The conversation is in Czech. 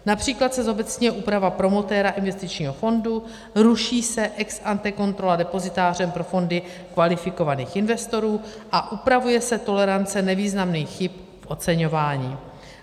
Například se zobecňuje úprava promotéra investičního fondu, ruší se ex ante kontrola depozitáře pro fondy kvalifikovaných investorů a upravuje se tolerance nevýznamných chyb v oceňování.